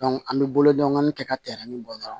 an bɛ bolo dɔɔnin kɛ ka tɛmɛn bɔ dɔrɔn